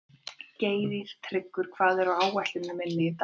Geirtryggur, hvað er á áætluninni minni í dag?